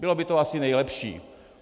Bylo by to asi nejlepší.